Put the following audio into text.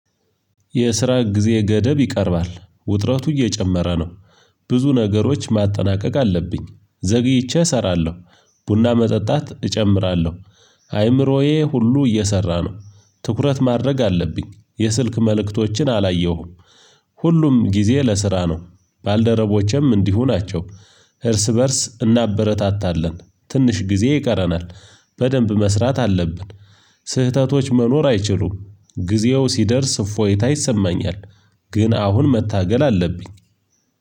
የስራ ጊዜ ገደብ ይቀርባል ውጥረቱ እየጨመረ ነው። ብዙ ነገሮች ማጠናቀቅ አለብኝ ዘግይቼ እሰራለሁ። ቡና መጠጣት እጨምራለሁ። አይምሮዬ ሁሉ እየሰራ ነው። ትኩረት ማድረግ አለብኝ የስልክ መልእክቶችን አላየሁም። ሁሉም ጊዜ ለስራ ነው። ባልደረቦቼም እንዲሁ ናቸው። እርስ በእርስ እናበረታታለን ትንሽ ጊዜ ይቀረናል። በደንብ መስራት አለብን። ስህተቶች መኖር አይችሉም። ጊዜው ሲደርስ እፎይታ ይሰማኛል። ግን አሁን መታገል አለብኝ።